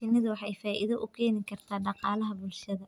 Shinnidu waxay faa'iido u keeni kartaa dhaqaalaha bulshada.